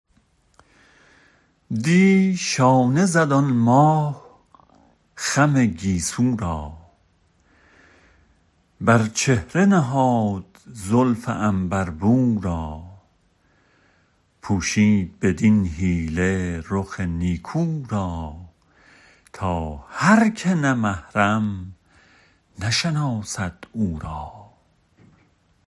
دی شانه زد آن ماه خم گیسو را بر چهره نهاد زلف عنبر بو را پوشید بدین حیله رخ نیکو را تا هرکه نه محرم نشناسد او را